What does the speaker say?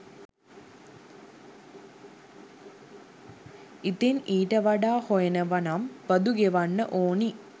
ඉතින් ඊට වඩා හොයනවනම් බදු ගෙවන්න ඕනි.